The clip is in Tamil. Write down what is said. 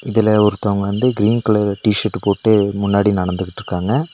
இதுல ஒருத்தவங்க வந்து கிரீன் கலர் டிஷர்ட் போட்டு முன்னாடி நடந்துகிட்ருக்காங்க.